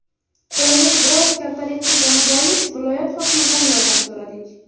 Qo‘limiz biroz kaltalik qilgani bois viloyat hokimidan yordam so‘radik.